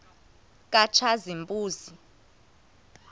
katshazimpuzi